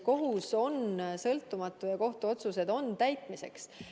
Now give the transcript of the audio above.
Kohus on sõltumatu ja kohtuotsused on täitmiseks.